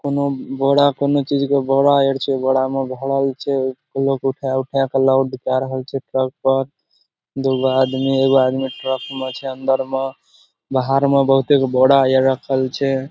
कउनो बोरा कउनो चीज के बोरा और छे। बोरा में घड़ई छे। लोग उठा-उठा के लोड कर रहल छे ट्रक पर। दुगो आदमी एगो आदमी ट्रक में छे अंदर में बाहर में बहुते गो बोरा ए रखल छे।